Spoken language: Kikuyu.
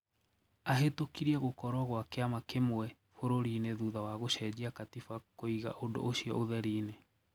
Ahitũkirie gũkorwo kwa kiama kimwe bururiini thutha wa gucenjia katiba kuiga undũ ucio utheriine.